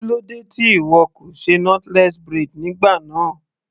Kílódé tí ìwọ kò ṣe knotless braid nígbà náà.